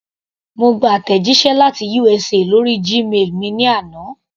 Mo gba àtẹ̀jíṣẹ́ láti USA lórí Gmail mi ní àná.